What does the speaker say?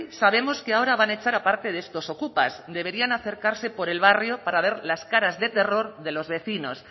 sabemos que ahora van a echar a parte de estos ocupas deberían acercarse por el barrio para ver las caras de terror de los vecinos